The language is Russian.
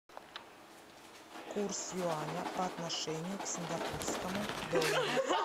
курс юаня по отношению к сингапурскому доллару